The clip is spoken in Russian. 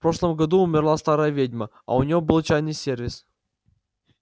в прошлом году умерла старая ведьма а у неё был чайный сервис